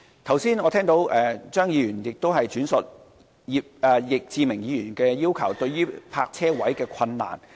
我剛才聽到張議員轉述易志明議員的要求，並提及有關泊車位的困難。